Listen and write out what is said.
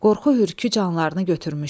Qorxu hürkdü canlarını götürmüşdü.